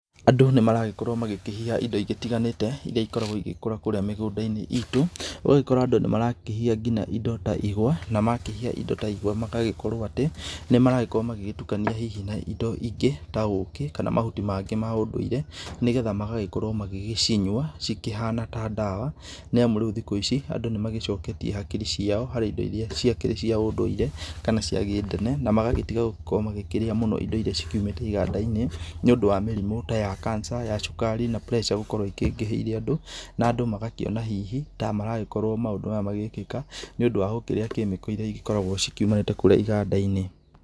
Andũ nĩmaragĩkorwo magĩkĩhiha indo igĩtiganĩte irĩa ĩgĩkoragwo ĩgĩgĩkũra kũrĩa mĩgũnda inĩ itũ ũgagĩkora andũ nĩ maragĩkorwo agĩkĩhiha indo ta igwa magakĩhiha indo ta igwa magagĩkorwo atĩ nĩ maragĩkorwo agĩgĩtũkania hĩhĩ na indo ingĩ ta ũkĩ kana mahũti mangĩ ma ũndũire nĩgetha magagĩkorwo magĩgĩcinyũa cĩkĩhana ta dawa nĩamũ rĩũ thikũ ici andũ nĩmagĩcoketĩe hakiri cio harĩ indo ciao irĩa cĩakĩrĩ cia ũndũire kana cia gĩ tene na magĩtĩga gũgĩkorwo magĩkĩrĩa mũndo ĩndo ĩrĩa ciũmĩte iganda inĩ nĩũndũ wa mĩrimũ ta ya Cancer ya cũkari na pressure ĩgagĩkorwo ikĩingĩhĩire andũ na andũ magakĩona hihi andũ ta maragĩkorwo maũndũ maya magĩkĩka nĩ ũndũ wa gũkĩrĩa kemiko ĩrĩa ĩgĩkoragwo ciũmanĩte kũrĩa iganda inĩ.